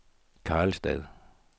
Karlstad